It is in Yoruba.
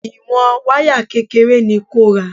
Ìwọ̀n wáyà kékeré ni kò ra.